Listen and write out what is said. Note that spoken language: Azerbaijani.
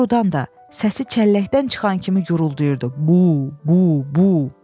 Doğrudan da səsi çəlləkdən çıxan kimi guruldayırdı, bu, bu, bu.